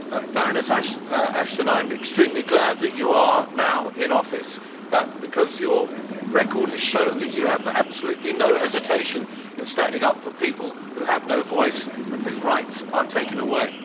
Baroness Ashton, I am extremely glad that you are now in office, because your record has shown that you have absolutely no hesitation in standing up for people who have no voice and whose rights are taken away.